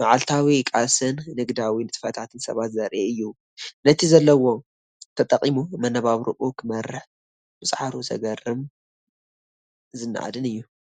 መዓልታዊ ቃልስን ንግዳዊ ንጥፈታትን ሰባት ዘርኢ እዩ። ነቲ ዘለዎ ተጠቂሙ መነባብሮኡ ክመርሕ ምጽዓሩ ዘገርምን ዝነኣድን እዩ።